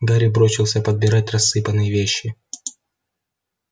гарри бросился подбирать рассыпанные вещи